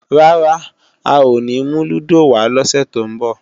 Rárá, a ò ní mú lúdò wá lọ́sè tó ń bọ̀